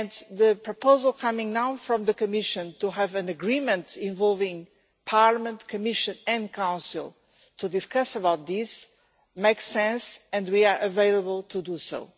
The proposal coming now from the Commission to have an agreement involving Parliament, the Commission and the Council to discuss this makes sense and we are available to do so.